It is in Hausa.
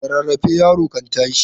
Da rarrafe yaro kan tashi.